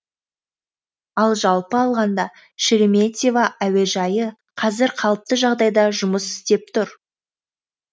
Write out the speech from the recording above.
ал жалпы алғанда шереметьево әуежайы қазір қалыпты жағдайда жұмыс істеп тұр